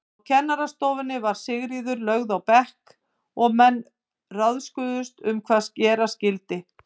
Á kennarastofunni var Sigríður lögð á bekk og menn ráðguðust um hvað gera skyldi.